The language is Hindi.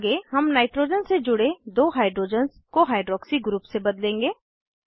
आगे हम नाइट्रोजन से जुड़े दो हाइड्रोजन्स को हाइड्रॉक्सी ग्रुप से बदलेंगे